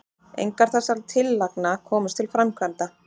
engar þessara tillagna komust til framkvæmda